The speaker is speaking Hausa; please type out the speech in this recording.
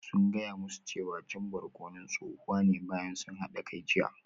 Sun gaya musu cewa cin barkonon tsohuwa ne bayan sun hada kai jiya